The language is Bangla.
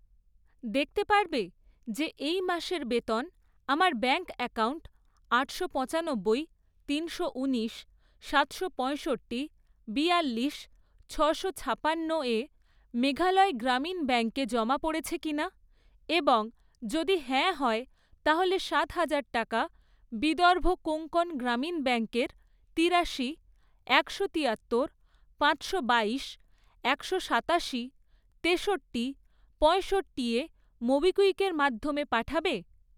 দেখতে পারবে যে এই মাসের বেতন আমার ব্যাঙ্ক অ্যাকাউন্ট আটশো পঁচানব্বই, তিনশো ঊনিশ, সাতশো পঁয়ষট্টি, বিয়াল্লিশ, ছশো ছাপান্নোয় মেঘালয় গ্রামীণ ব্যাঙ্কে জমা পড়েছে কিনা এবং যদি হ্যাঁ হয়, তাহলে সাত হাজার টাকা বিদর্ভ কোঙ্কন গ্রামীণ ব্যাঙ্কের তিরাশি, একশো তিয়াত্তর, পাঁচশো বাইশ, একশো সাতাশি, তেষট্টি, পঁয়ষট্টি এ মোবিকুইকের মাধ্যমে পাঠাবে?